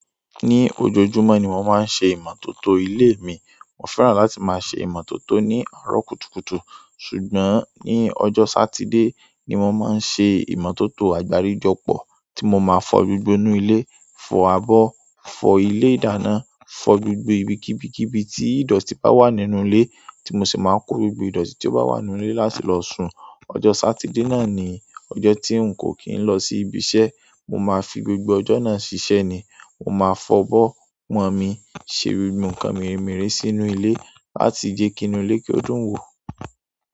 Ní ojoojúmọ́ ni mo máa ń ṣe ìmọ́tótó ilé mi. Mo fẹ́ràn láti máa ṣe ìmọ́tótó ní àárọ̀ kùtùkùtù. Ṣùgbọ́n ní ọjọ́ Sátidé ni mo máa ń ṣe ìmọ́tótó àgbáríjọpọ̀ tí mo máa fọ gbogbo inú ilé, fọ abọ́, fọ ilé ìdáná, fọ gbogbo ibi kibikiibi tí ìdọ̀tí bá wà nínú ilé tí mo sì máa kó gbogbo ìdọ̀tí tí ó bá wà nínú ilé láti lọ sun. Ọjọ́ Sátidé náà ni ọjọ́ tí n kò kín lọ sí ibi iṣẹ́, mo máa fi gbogbo ọjọ́ náà ṣiṣẹ́ ni. Mo máa fọ abọ́, pọn mí, ṣe gbogbo nǹkan meremere sínú ilé láti jẹ́ kí inú ilé ko dùn wò.